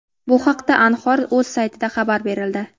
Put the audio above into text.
Bu haqda Anhor.uz saytida xabar berildi .